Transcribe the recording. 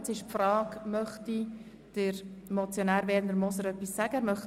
Nun frage ich, ob sich der Mitmotionär, Herr Grossrat Moser, äussern möchte?